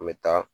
An bɛ taa